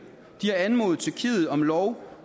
de har anmodet tyrkiet om lov